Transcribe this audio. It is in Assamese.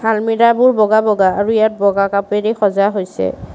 আলমিৰাবোৰ বগা বগা আৰু ইয়াত বগা কাপেৰে সজা হৈছে।